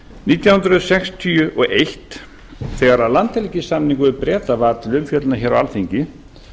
nítján hundruð sextíu og eitt þegar landhelgissamningurinn við breta var til umfjöllunar á alþingi